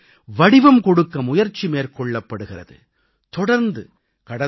அவர்களின் கனவுகளுக்கு வடிவம் கொடுக்க முயற்சி மேற்கொள்ளப்படுகிறது